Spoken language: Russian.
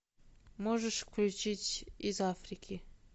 можешь включить из африки